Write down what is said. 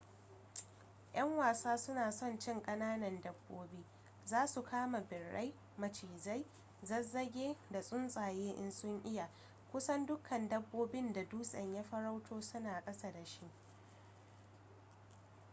'yan wasa suna son cin kananan dabbobi za su kama birai macizai zazzage da tsuntsaye in sun iya kusan dukkan dabbobin da dutsen ya farauto suna ƙasa da shi